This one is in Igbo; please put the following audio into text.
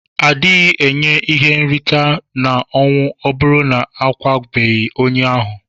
Adighi enye ihe nrita na ọnwụ ọburu na akwabeghi onye ahu.